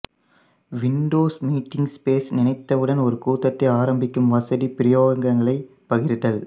Windows meeting space நினைத்தவுடன் ஓர் கூட்டத்தை ஆரம்பிக்கும் வசதி பிரயோகங்களைப் பகிர்தல்